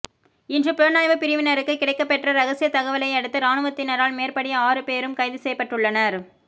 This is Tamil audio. இன்று புலனாய்வுப் பிரிவினருக்கு கிடைக்கப்பெற்ற இரகசிய தகவலையடுத்து இராணுவத்தினரால் மேற்படி ஆறு பேரும் கைது செய்யப்பட்டுள்ளனர்